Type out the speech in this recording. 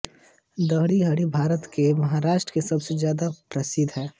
दहीहांडी भारत के महाराष्ट्र में सबसे ज्यादा प्रसिद्ध है